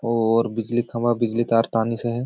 और बिजली खंभा बिजली तार टानिस हे।